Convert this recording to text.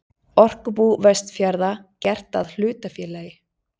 Orkubú Vestfjarða gert að hlutafélagi.